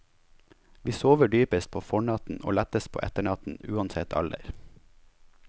Vi sover dypest på fornatten og lettest på etternatten, uansett alder.